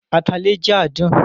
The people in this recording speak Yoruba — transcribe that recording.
Atalẹ jẹ adun